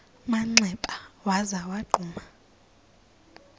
manxeba waza wagquma